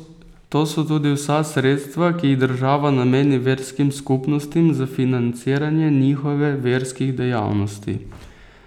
To so tudi vsa sredstva, ki jih država nameni verskim skupnostim za financiranje njihove verskih dejavnosti.